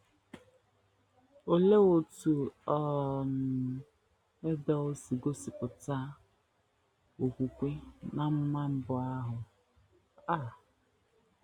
Olee otú um Ebel si gosipụta okwukwe n’amụma mbụ ahụ um?